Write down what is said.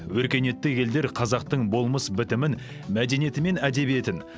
өркениетті елдер қазақтың болмыс бітімін мәдениеті мен әдебиетін